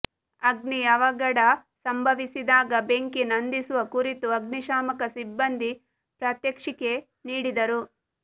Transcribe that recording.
ಅಗ್ನಿ ಅವಘಡ ಸಂಭವಿಸಿದಾಗ ಬೆಂಕಿ ನಂದಿಸುವ ಕುರಿತು ಅಗ್ನಿಶಾಮಕ ಸಿಬ್ಬಂದಿ ಪ್ರಾತ್ಯಕ್ಷಿಕೆ ನೀಡಿದರು